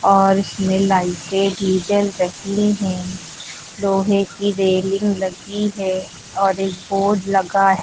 और इसमें लाइटें भी जल रही हैं लोहे की रेलिंग लगी है और एक बोर्ड लगा है।